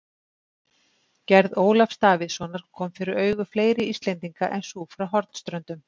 Gerð Ólafs Davíðssonar kom fyrir augu fleiri Íslendinga en sú frá Hornströndum.